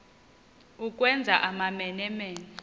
ukwenza amamene mene